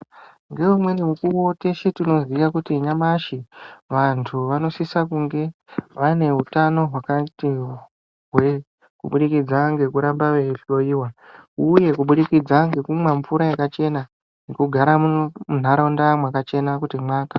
Ngeumweni mukuwo teshe tinoziva kuti nyamashi vantu vanosise kunge vane hutano hwakati hwee kuburikidza ngekuramba veihloiwa, uye kubudikidza ngekumwa mvura yakachena, kugara muntaraunda mwakachena kuti mwakaa.